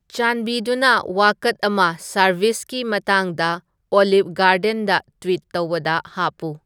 ꯆꯥꯟꯕꯤꯗꯨꯅ ꯋꯥꯀꯠ ꯑꯃ ꯁꯔꯚꯤꯁꯒꯤ ꯃꯇꯥꯡꯗ ꯑꯣꯜꯂꯤꯚ ꯒꯥꯔꯗꯦꯟꯗ ꯇ꯭ꯋꯤꯠ ꯇꯧꯕꯗ ꯍꯥꯞꯄꯨ